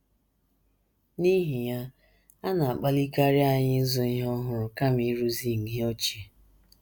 N’ihi ya, a na -- akpalikarị anyị ịzụ ihe ọhụrụ kama ịrụzi ihe ochie.